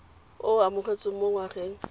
o o amogetsweng mo ngwageng